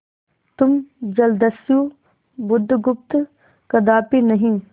तुम जलदस्यु बुधगुप्त कदापि नहीं